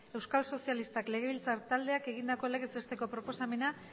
euskal sozialistak legebiltzar taldeak egindako legez besteko proposamena